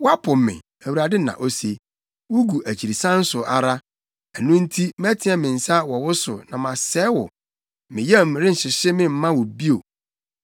Woapo me,” Awurade na ose. “Wugu akyirisan so ara. Ɛno nti mɛteɛ me nsa wɔ wo so na masɛe wo. Me yam renhyehye me mma wo bio.